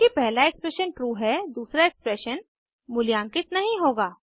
चूँकि पहला expression true है दूसरा एक्सप्रेशन मूल्यांकित नहीं होगा